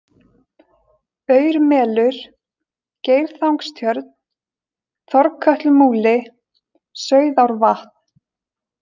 Aurmelur, Geirþangstjörn, Þorkötlumúli, Sauðárvatn